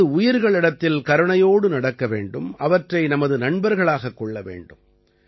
அதாவது உயிர்களிடத்தில் கருணையோடு நடக்க வேண்டும் அவற்றை நமது நண்பர்களாகக் கொள்ள வேண்டும்